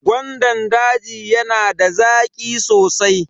Gwandan daji yana da zaƙi sosai.